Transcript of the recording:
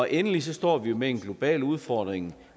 endelig står vi med en global udfordring